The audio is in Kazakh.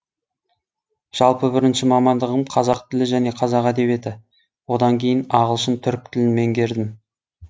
жалпы бірінші мамандығым қазақ тілі және қазақ әдебиеті одан кейін ағылшын түрік тілін меңгердім